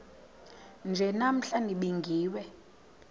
nje namhla nibingiwe